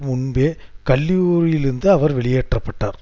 முன்பே கல்லூரியிலிருந்து அவர் வெளியேற்ற பட்டார்